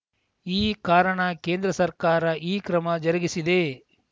ಈ ಕಾರಣ ಕೇಂದ್ರ ಸರ್ಕಾರ ಈ ಕ್ರಮ ಜರುಗಿಸಿದೆ